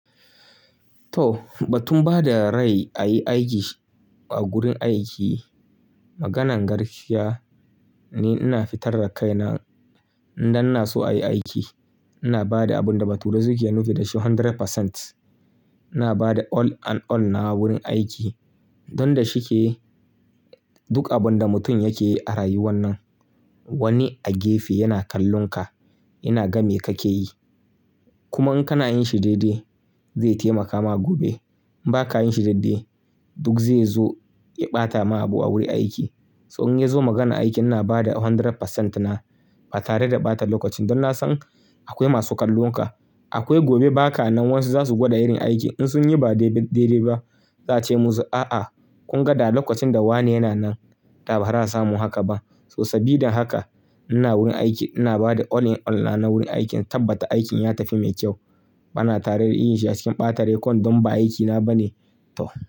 To, ba tun ba da rai a yi aiki a gurin aiki. Maganan garkiya ne ina fitar da kaina. Idan na so a yi aiki, ina ba da abin da ba tare da suke nufi da shi hundred percent. Ina ba da all and all na wurin aiki. Don da shi ke duk abin da mutum yake yi a rayuwan nan. Wani a gefe yana kallon ka, yana ga me kake yi. Kuma in kana yin shi daidai, zai taimaka ma gobe. In ba ka yin shi daidai, duk zai zo ya ɓata ma abu a wurin aiki. So in ya zo maganan aiki ina ba da hundred percent na ba tare da ɓata lokacin don na san akwai masu kallon ka. Akwai gobe baka nan wasu zasu gwada irin aiki. In sun yi ba daidai ba za su ce musu, "A'a kun ga da lokacin da wane yana nan da ba za su samu haka ba." So sabida haka ina wurin aiki ina ba da all in all na wurin aikin tabbata aikin ya tafi mai kyau. Bana tare da yin shi a cikin ɓata rekon don ba aikina ba ne. To.